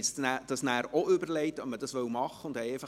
Wir überlegten uns dann auch, ob wir dies machen wollen.